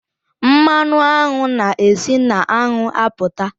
Mmanụ aṅụ na e si na aṅụ apụta.